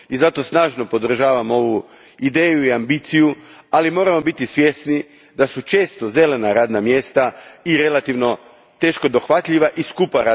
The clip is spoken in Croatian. Zato snažno podržavam ovu ideju i ambiciju, ali moramo biti svjesni da su često zelena radna mjesta teško dohvatljiva i skupa.